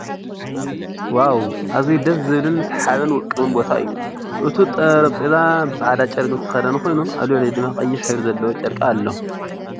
ዋው ኣዝዩ ደሰ ዝብልን ዝሓብን ውቅብን ቦታ እዩ። እቱይ ጠረጴዛ ብፃዕዳ ጨርቂ ዝተሸፈነ ኮይኑ ኣብ ልዕሊኡ ድማ ቀይሕ ሕብሪ ዘለዎ ጨርቂ ኣሎ።